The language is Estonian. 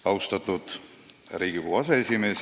Austatud Riigikogu aseesimees!